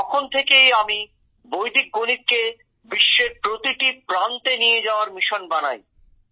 তখন থেকেই আমি বৈদিক গণিতকে বিশ্বের প্রতিটি প্রান্তে নিয়ে যাওয়ার পরিকল্পনা করি